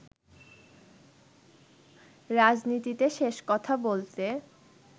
রাজনীতিতে শেষ কথা বলতে